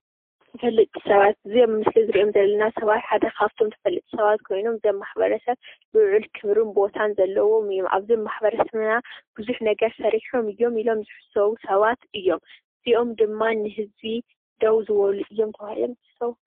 ተፈልጢ ሰባት እዮም። እዚኦም ድማ ንህዝቢ ደው ዝበሉ እዮሞ ተባሂሎም ይሕሰቡ።